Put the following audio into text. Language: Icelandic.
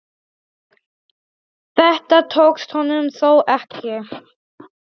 Þetta tókst honum þó ekki.